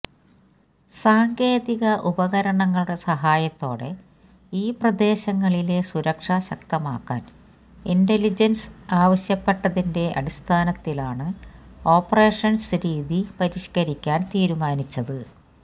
സാങ്കേതിക ഉപകരണങ്ങളുടെ സഹായത്തോടെ ഈ പ്രദേസങ്ങളിലെ സുരക്ഷ ശക്തമാക്കാന് ഇന്റലിജെന്സ് ആവശ്യപ്പെട്ടതിന്റെ അടിസ്ഥാനത്തിലാണ് ഓപ്പറേഷന്സ് രീതി പരിഷ്കരിക്കാന് തീരുമാനിച്ചത്